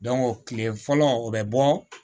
kile fɔlɔ o bɛ bɔ